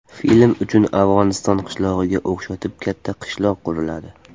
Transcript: Film uchun Afg‘oniston qishlog‘iga o‘xshatib katta qishloq quriladi.